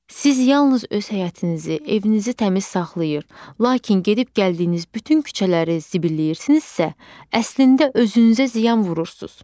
Siz yalnız öz həyətinizi, evinizi təmiz saxlayır, lakin gedib gəldiyiniz bütün küçələri zibilləyirsinizsə, əslində özünüzə ziyan vurursunuz.